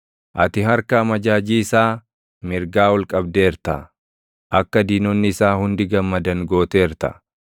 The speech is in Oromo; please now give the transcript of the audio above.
Ati harka amajaajii isaa mirgaa ol qabdeerta; akka diinonni isaa hundi gammadan gooteerta.